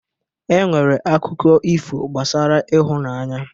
E nwere akụkọ ifo gbasara ịhụnanya